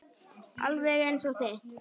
Alveg eins og þitt.